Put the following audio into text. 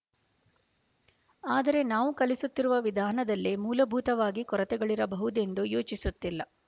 ಆದರೆ ನಾವು ಕಲಿಸುತ್ತಿರುವ ವಿಧಾನದಲ್ಲೇ ಮೂಲಭೂತವಾಗಿ ಕೊರತೆಗಳಿರಬಹುದೆಂದು ಯೋಚಿಸುತ್ತಿಲ್ಲ